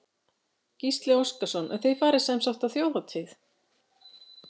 Gísli Óskarsson: Og þið farið sem sagt á Þjóðhátíð?